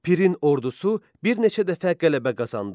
Pirin ordusu bir neçə dəfə qələbə qazandı.